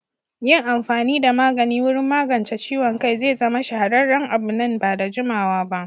Yin amfani da magani wurin magance ciwon kai zai zama shahararren abu nan ba da jimawa ba.